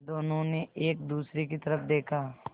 दोनों ने एक दूसरे की तरफ़ देखा